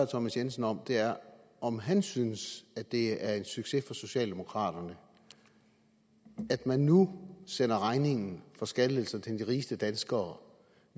thomas jensen om er om han synes det er en succes for socialdemokraterne at man nu sender regningen for skattelettelser til de rigeste danskere